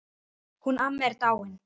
Hún amma er dáin.